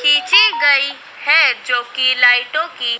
खींची गई है जोकि लाइटों की--